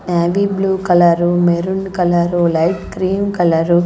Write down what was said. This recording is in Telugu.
navy blue colour maroon colour light cream colour --